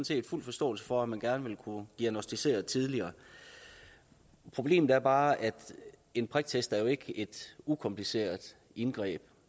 set fuld forståelse for at man gerne vil kunne diagnosticere tidligere problemet er bare at en priktest er et ukompliceret indgreb